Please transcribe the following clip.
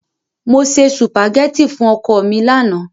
Mo se sùpàgẹ́tì fún ọkọ mi lánàá.